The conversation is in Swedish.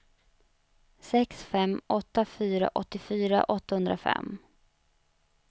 sex fem åtta fyra åttiofyra åttahundrafem